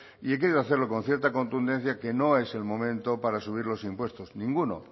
y he querido hacerlo con cierta contundencia que no es el momento para subir los impuestos ninguno